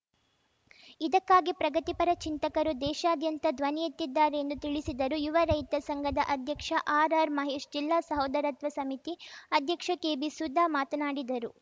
ಇದಕ್ಕಾಗಿ ಪ್ರಗತಿಪರ ಚಿಂತಕರು ದೇಶಾದ್ಯಂತ ಧ್ವನಿಯೆತ್ತಿದ್ದಾರೆ ಎಂದು ತಿಳಿಸಿದರು ಯುವ ರೈತ ಸಂಘದ ಅಧ್ಯಕ್ಷ ಆರ್‌ಆರ್‌ಮಹೇಶ್‌ ಜಿಲ್ಲಾ ಸಹೋದರತ್ವ ಸಮಿತಿ ಅಧ್ಯಕ್ಷೆ ಕೆಬಿಸುಧಾ ಮಾತನಾಡಿದರು